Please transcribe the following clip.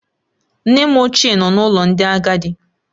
Nne m ochie nọ n'ụlọ ndị agadi